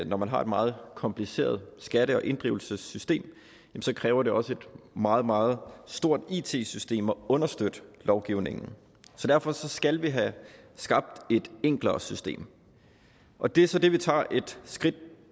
når man har et meget kompliceret skatte og inddrivelsessystem kræver det også et meget meget stort it system at understøtte lovgivningen så derfor skal vi have skabt et enklere system og det er så det vi tager et skridt